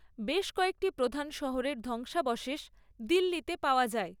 বেশ কয়েকটি প্রধান শহরের ধ্বংসাবশেষ দিল্লিতে পাওয়া যায়।